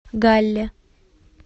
галле